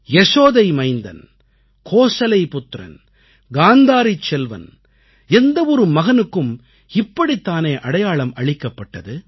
யசோதை மைந்தன் கோசலை புத்திரன் காந்தாரிச் செல்வன் எந்த ஒரு மகனுக்கும் இப்படித்தானே அடையாளம் அளிக்கப்பட்டது